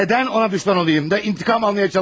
Nədən ona düşmən olayım da intikam almağa çalışayım?